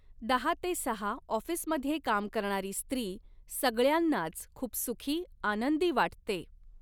दहा ते सहा ऑफ़िसमध्ये काम करणारी स्त्री सगळ्यांनाच खुप सुखी, आनंदी वाटते.